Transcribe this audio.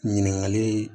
Ɲininkali